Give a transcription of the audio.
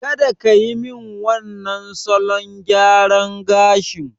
Kada kiyi min wannan salon gyaran gashin!